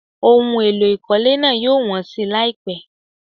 Ohun èlò ìkọ́lé náà yóò wọ́n si láìpẹ́.